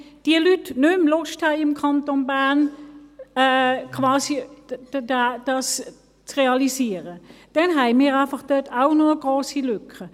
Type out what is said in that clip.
Wenn diese Leute nicht mehr Lust haben, das im Kanton Bern quasi zu realisieren, haben wir dort auch noch eine grosse Lücke.